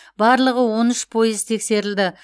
барлығы он үш пойыз тексерілді